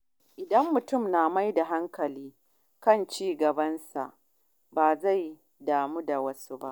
Idan mutum ya mayar da hankali kan ci gabansa, ba zai damu da wasu ba.